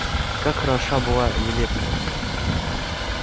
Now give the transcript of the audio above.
как хороша была елецкая